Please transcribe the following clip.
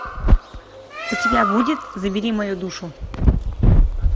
у тебя будет забери мою душу